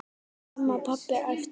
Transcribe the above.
Mamma, pabbi æpti hún.